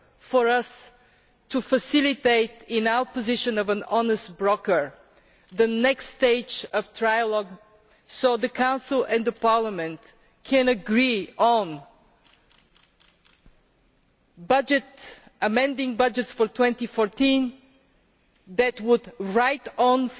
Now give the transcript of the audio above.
for us to facilitate, in our position of honest broker, the next stage of trialogue so that the Council and Parliament can agree on amending budgets for 2014 that would write off